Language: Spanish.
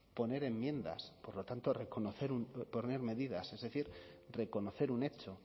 poner enmiendas por lo tanto reconocer poner medidas es decir reconocer un hecho